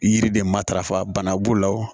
Yiri de matarafa bana b'o la